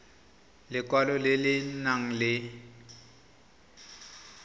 lekwalo le le nang le